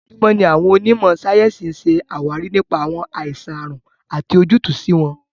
Ojoojúmọ́ ni àwọn onímò sáyẹ́ǹsì ń ṣe àwárí nípa àwọn àìsàn/àrùn àti ojútùú sí wọn.